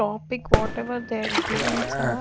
topic whatever they givens are--